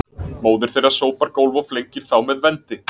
Móðir þeirra sópar gólf og flengir þá með vendi